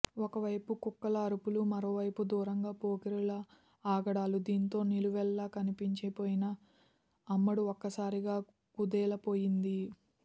ఓవైపు కుక్కల అరుపులు మరోవైపు దూరంగా పోకిరీల ఆగడాలు దీంతో నిలువెల్లా కంపించి పోయిన అమ్మడు ఒక్కసారిగా కుదేలేపోయింది